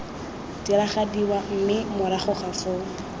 diragadiwa mme morago ga foo